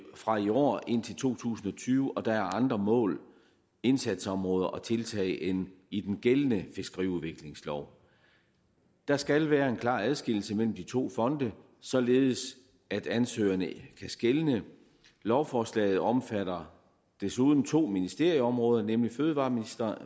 fra i år indtil to tusind og tyve og der er andre mål indsatsområder og tiltag end i den gældende fiskeriudviklingslov der skal være en klar adskillelse mellem de to fonde således at ansøgerne kan skelne lovforslaget omfatter desuden to ministerområder nemlig fødevareministeriet